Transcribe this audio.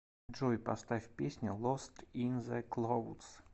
джой поставь песню лост ин зе клоудс